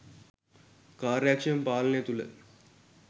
කාර්යක්ෂම පාලනය තුළ